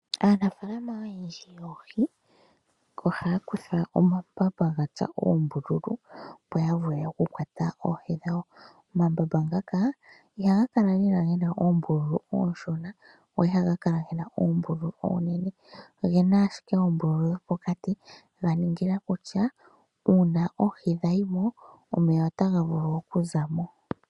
Aanafaalama oyendji yoohi ohaya kutha omambamba ga tsuwa oombululu, opo ya vule okukwata oohi dhawo. Omambamba ngaka ihaga kala lela ge na oombululu oonshona , ohaga kala ge na oombululu oonene. Oge na ashike oombululu dhi li pokati ga ningila kutya uuna oohi dha yi mo omeya otaga vulu okuza mo.